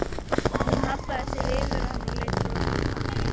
Hún hallaði sér yfir hann og leit brosandi til mín.